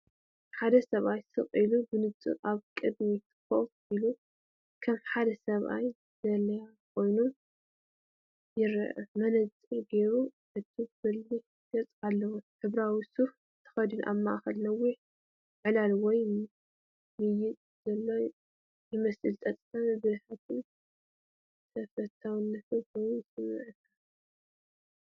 ሓደ ሰብኣይ ስቕ ኢሉን ብንጹርን ኣብ ቅድሚት ኮፍ ኢሉ፡ ከም ሓደ ሰብ ዘላልያ ኮይኑ ይረአ። መነጽር ገይሩ ዕቱብን በሊሕን ገጽ ኣለዎ። ሕብራዊ ሱፍ ተኸዲኑ ኣብ ማእከል ነዊሕ ዕላል ወይ ምይይጥ ዘሎ ይመስል። ጸጥታን ብልሕን ተፈታዊን ኮይኑ ይስምዓካ።